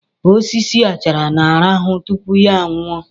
Osisi achara na-arahụ tupu ya nwụọ